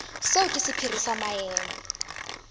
seo ke sephiri sa maemo